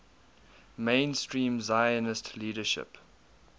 mainstream zionist leadership